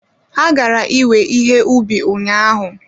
Ha gara iwe ihe ubi ụnyahụ